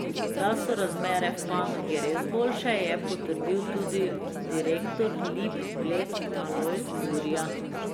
Da so razmere v panogi res boljše, je potrdil tudi direktor Lip Bled Alojz Burja.